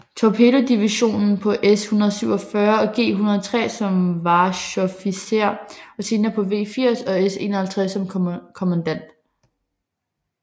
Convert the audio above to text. Torpedovision på S 147 og G 103 som Wachoffizier og senere på V 80 og S 51 som kommandant